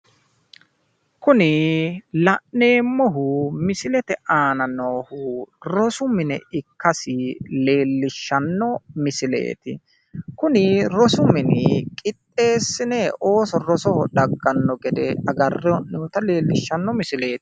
kuni la'neemmohu misilete aana noohu rosu mine ikkasi leellishshanno misileeti kuni rosu mini qixxeessine ooso rosoho dagganno gede agarre hee'noonita leellishshanno misileeti.